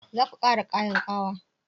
Zaku ƙara kayan ƙawa?